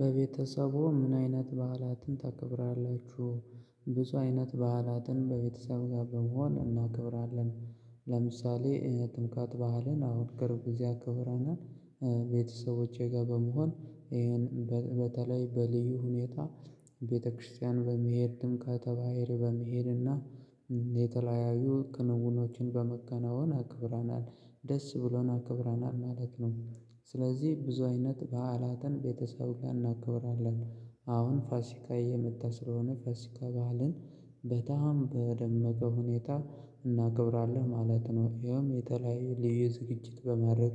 በቤተሰቡ ምን አይነት በዓላትን ታከብራላችሁ? ብዙ አይነት በዓላትን በቤተሰብ ጋር በመሆን እናከብራለን። ለምሳሌ ጥምቀት በዓልን አሁን ቅርብ እዚያ አከብረናል። ቤተሰቦቼ ጋር በመሆን ይሄን በተለይ በልዩ ሁኔታ ቤተክርስቲያን በመሄድም ጥምቀተ ባህር በመሄድና የተለያዩ ክንውኖችን በማከናወን አክብረናል ደስ ብሎን አክብረናል ማለት ነው። ስለዚህ ብዙ አይነት በዓላትን ቤተሰብ ጋር እናከብራለን። አሁን ፋሲካ እየመጣ ስለሆነ ፋሲካ ባህልን በጣም በደመቀ ሁኔታ እናክብራለን ማለት ነው። ይኸውም የተለያየ ልዩ ዝግጅት በማድረግ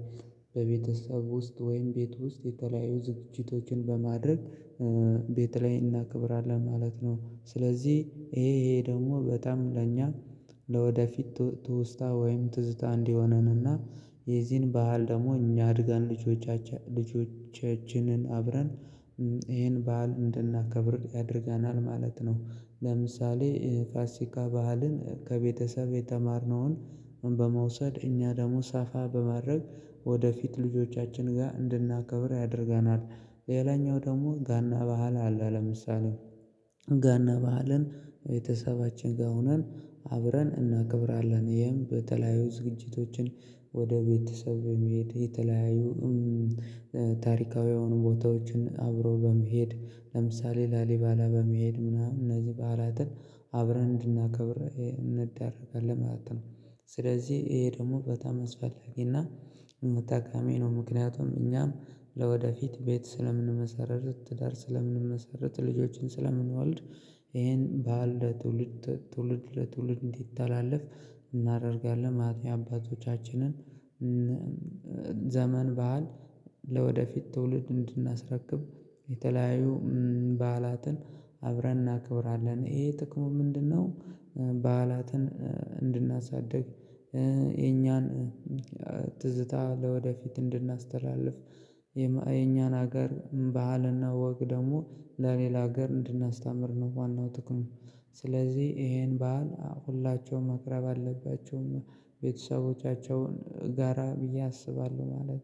በቤተሰብ ውስጥ ወይም ቤት ውስጥ የተለያዩ ዝግጅቶችን በማድረግ ቤት ላይ እናከብራለን ማለት ነው። ስለዚህ ይሄ ይሄ ደግሞ በጣም ለእኛ ለወደፊት ትውስታ ወይም ትዝታ እንዲሆነን የዚህን ባህል ደግሞ እኛ አድገን ልጆቻችንን አብረን ይሄን ባህል እንድናከብር ያደርገናል ማለት ነው። ለምሳሌ ፋሲካ ባህልን ከቤተሰብ የተማርነውን በመውሰድ እኛ ደግሞ ሰፋ በማድረግ ወደፊት ልጆቻችን ጋር እንድናከብር ያደርገናል። ሌላኛው ደግሞ ጋና ባእል አለ። ለምሳሌ ጋና ባዕልን ቤተሰባችን ጋር ሁነን አብረን እናከብራለን ይሄም በተለያዩ ዝግጅቶችን ወደ ቤተሰብ በመሄድ የተለያዩ ታሪካዊ የሆኑ ቦታዎችን አብሮ በመሄድ ለምሳሌ ላሊበላ በመሄድ ምናምን እነዚህ በዓላትን አብረን እንድናከብር እንዳረጋለን ማለት ነው። ስለዚህ ይሄ ደግሞ በጣም አስፈላጊና ጠቃሚ ነው። ምክንያቱም እኛም ለወደፊት ቤት ስለምንመሰርት ትዳር ስለምንመሰርት ልጆችን ስለምንወልድ ይሄን በዓል ለትውልድ ለትውልድ እንዲታለፍ እናደርጋለን ማለት የአባቶቻችንን አባቶቻችንን ዘመን ባህል ለወደፊት ትውልድ እንድናስረክብ የተለያዩ በዓላትን አብረን እናከብራለን። ይሄ ጥቅሙ ምንድነው? በዓላትን እንድናሳድግ የኛን ትዝታ ለወደፊት እንድናስተላልፍ የኛን ሀገር ባህልና ወግ ደግሞ ለሌላ ሀገር እንድናስተምር ነው ዋናው ጥቅሙ። ስለዚህ ይሄን በዓል ሁላቸውም ማክበር አለባቸሁ ቤተሰቦቻቸውን ጋራ ብዬ አስባለሁ ማለት